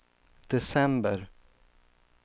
december